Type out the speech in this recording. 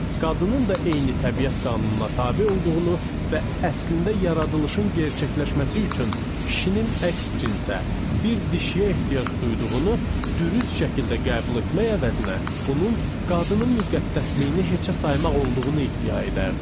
Qadının da eyni təbiət qanununa tabe olduğunu və əslində yaradılışın gerçəkləşməsi üçün kişinin əks cinsə, bir dişiyə ehtiyac duyduğunu dürüst şəkildə qəbul etmək əvəzinə, bunun qadının müqəddəsliyini heçə saymaq olduğunu iddia edərdi.